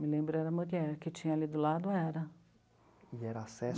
Que eu me lembro era mulher, o que tinha ali do lado era.